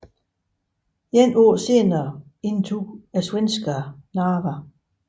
Et år senere indtog svenskerne Narva